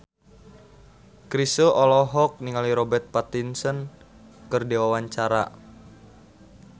Chrisye olohok ningali Robert Pattinson keur diwawancara